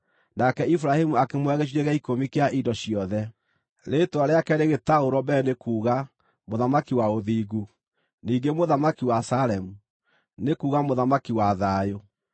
nake Iburahĩmu akĩmũhe gĩcunjĩ gĩa ikũmi kĩa indo ciothe. Rĩĩtwa rĩake rĩgĩtaũrwo mbere nĩ kuuga “mũthamaki wa ũthingu”; ningĩ “mũthamaki wa Salemu” nĩ kuuga “mũthamaki wa thayũ”.